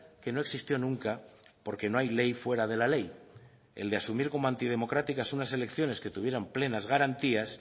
que no existió nunca porque no hay ley fuera de la ley el de asumir como antidemocráticas unas elecciones que tuvieran plenas garantías